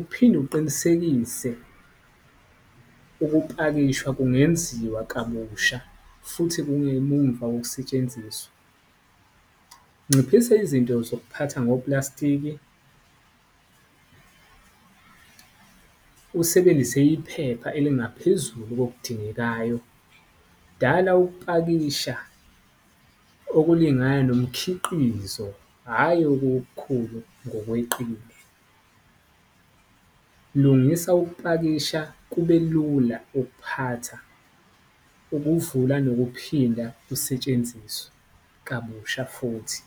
uphinde uqinisekise ukupakishwa kungenziwa kabusha futhi kungemumva wokusetshenziswa. Nciphisa izinto zokuphatha ngoplastiki usebenzise iphepha elingaphezulu kokudingekayo. Dala ukupakisha okulingana nomkhiqizo, hhayi okukhulu ngokweqile. Lungisa ukupakisha kube lula ukuphatha, ukuwuvula nokuphinda kusetshenziswe kabusha futhi.